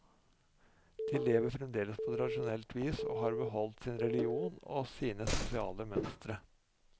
De lever fremdeles på tradisjonelt vis, og har beholdt sin religion og sine sosiale mønstre.